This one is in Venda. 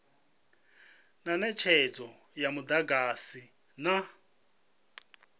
na netshedzo ya mudagasi na